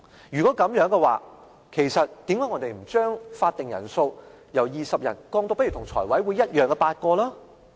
如果是這樣，其實我們為何不將法定人數由20人降至跟財務委員會相同的8人？